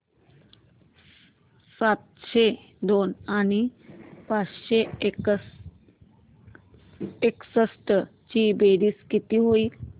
सातशे दोन आणि पाचशे एकसष्ट ची बेरीज किती होईल